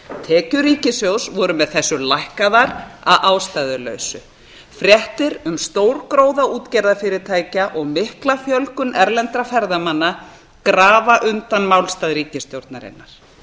tekjur ríkissjóðs voru með þessu lækkaðar að ástæðulausu fréttir um stórgróða útgerðarfyrirtækja og mikla fjölgun erlendra ferðamanna grafa undan málstað ríkisstjórnarinnar